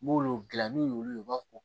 N b'olu dilan n'u y'olu ye u b'a fɔ ko